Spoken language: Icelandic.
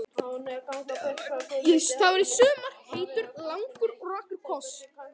Það var í sumar heitur, langur og rakur koss.